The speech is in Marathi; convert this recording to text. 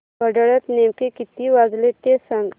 घड्याळात नेमके किती वाजले ते सांग